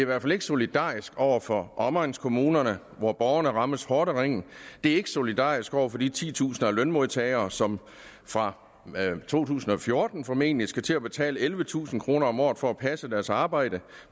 hvert fald ikke solidarisk over for omegnskommunerne hvor borgerne rammes hårdt af ringen det er ikke solidarisk over for de titusinder af lønmodtagere som fra to tusind og fjorten formentlig skal til at betale ellevetusind kroner om året for at passe deres arbejde